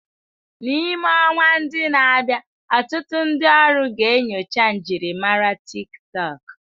N'ime ọnwa ndi na-abịa, ọtụtụ ndi ọrụ ga-enyocha njirimara TikTọk.